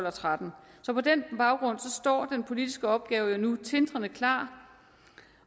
og tretten så på den baggrund står den politiske opgave jo nu tindrende klar